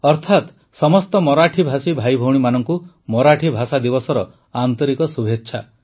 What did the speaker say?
ଅର୍ଥାତ୍ ସମସ୍ତ ମରାଠୀଭାଷୀ ଭାଇଭଉଣୀମାନଙ୍କୁ ମରାଠୀ ଭାଷାଦିବସର ଆନ୍ତରିକ ଶୁଭେଚ୍ଛା